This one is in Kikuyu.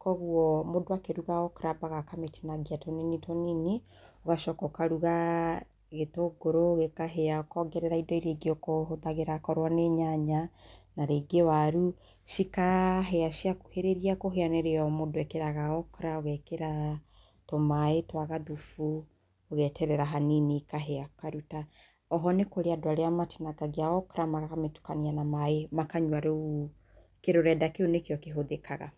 kwoguo, mũndũ akĩruga okra ambaga akamĩtinagia tũnini tũnini, ũgacoka ũkaruga gĩtũngũrũ, gĩkahĩa, ũkongerera indo iria ingĩ okorwo ũhũthagĩra korwo nĩ nyanya, na rĩngĩ waru, cikahĩa, ciakuhĩrĩria kũhĩa nĩrĩo mũndũ ekĩraga okra, ũgeekĩra tũmaĩ twa gathubu, ũgeterera hanini ikahĩa, ũkaruta. O ho, nĩ kũrĩ andũ matinangagia okra, makamĩtukania na maaĩ makanyua rũu, kĩrũrenda kĩu nĩkĩo kĩhũthĩkaga.